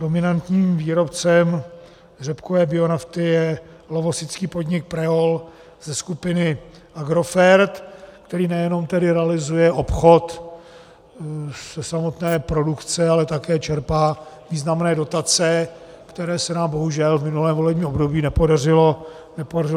Dominantním výrobcem řepkové bionafty je lovosický podnik Preol ze skupiny Agrofert, který nejenom tedy realizuje obchod ze samotné produkce, ale také čerpá významné dotace, které se nám bohužel v minulém volebním období nepodařilo zastavit.